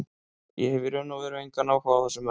Ég hef í raun og veru engan áhuga á þessum mönnum.